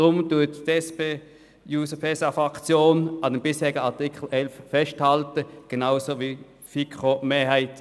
Darum hält die SPJUSO-PSA-Fraktion genauso wie die FiKo-Mehrheit am bisherigen Artikel fest.